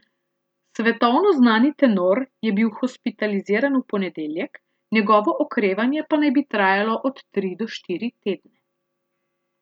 Svetovno znani tenor je bil hospitaliziran v ponedeljek, njegovo okrevanje pa naj bi trajalo od tri do štiri tedne.